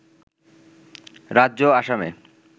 রাজ্য আসামে